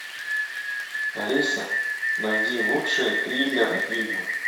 алиса найди лучшие триллер фильмы